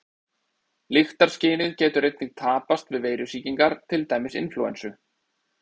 Lyktarskynið getur einnig tapast við veirusýkingar, til dæmis inflúensu.